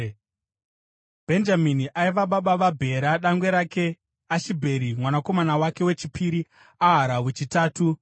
Bhenjamini aiva baba vaBhera dangwe rake, Ashibheri mwanakomana wechipiri, Ahara wechitatu,